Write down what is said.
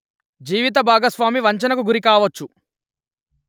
జీవిత భాగస్వామి వంచనకు గురి కావచ్చు